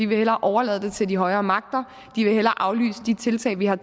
vil hellere overlade det til de højere magter hellere aflyse de tiltag vi har